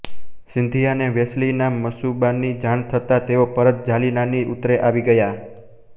સિંધિયાને વેલેસ્લીના મનસૂબાની જાણ થતાં તેઓ પરત જાલનાની ઉત્તરે આવી ગયા